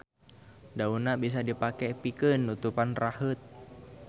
Daunna bisa dipake pikeun nutupan raheut.